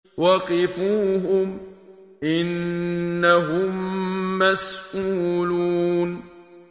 وَقِفُوهُمْ ۖ إِنَّهُم مَّسْئُولُونَ